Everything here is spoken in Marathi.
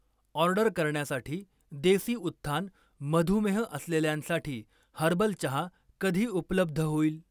ऑर्डर करण्यासाठी देसी उत्थान मधुमेह असलेल्यांसाठी हर्बल चहा कधी उपलब्ध होईल?